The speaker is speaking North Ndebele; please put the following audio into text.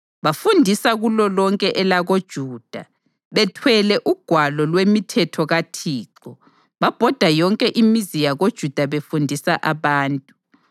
Bafundisa kulolonke elakoJuda, bethwele uGwalo lwemiThetho kaThixo; babhoda yonke imizi yakoJuda befundisa abantu.